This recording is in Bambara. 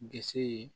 Disi ye